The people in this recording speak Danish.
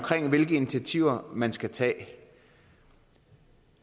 hvilke initiativer man skal tage